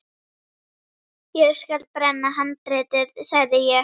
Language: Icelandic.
Ég skal brenna handritið, sagði ég.